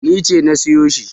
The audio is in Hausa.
Ni ce na sayo shi.